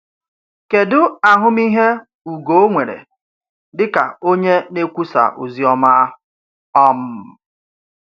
Kèdụ ahụmịhe Ugo nwere dịka onye na-ekwusà ozi ọma? um